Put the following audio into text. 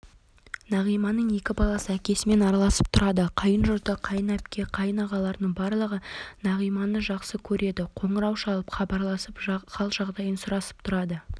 нағиманың екі баласы әкесімен араласып тұрады қайынжұрты қайын әпке қайын ағаларының барлығы нағиманы жақсы көреді қоңырау шалып хабарласып хал-жағдайын сұрасып тұрады